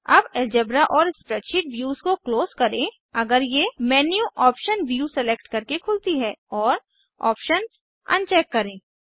अब एलजेब्रा और spreadsheet views को क्लोज करें अगर ये मेन्यू ऑप्शन व्यू सेलेक्ट करके खुलती हैं और ऑप्शंस अनचेक करें